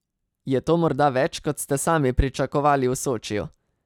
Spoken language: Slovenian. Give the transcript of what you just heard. Je to morda več, kot ste sami pričakovali v Sočiju?